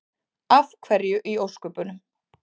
Af hverju í ósköpunum?